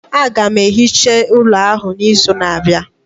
Aga m ehicha ụlọ ahụ n'izu na-abịa